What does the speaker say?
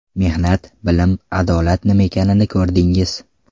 Mehnat, bilim, adolat nima ekanini ko‘rdingiz.